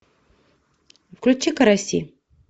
включи караси